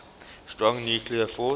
strong nuclear force